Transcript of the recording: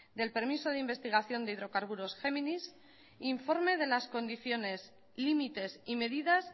del permiso de investigación de hidrocarburos géminis informe de las condiciones límites y medidas